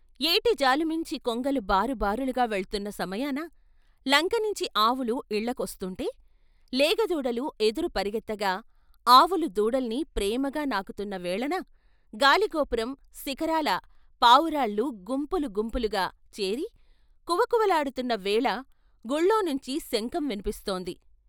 ఏటి జాలు నుంచి కొంగలు బారు బారులుగా వెళ్తున్న సమయాన, లంకనించి ఆవులు ఇళ్ళకొస్తుంటే లేగ దూడలు ఎదురు పరుగెత్తగా అవులు దూడల్ని ప్రేమగా నాకుతున్న వేళన గాలిగోపురం శిఖరాల పావురాళ్ళు గుంపులు గుంపులుగా చేరి కువకువలాడుతున్న వేళ గుళ్ళోనించి శంఖం విన్పిస్తోంది....